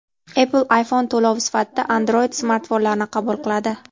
Apple iPhone to‘lovi sifatida Android-smartfonlarni qabul qiladi.